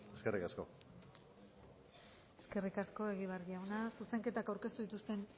eskerrik asko eskerrik asko egibar jauna zuzenketak aurkeztu ez dituzten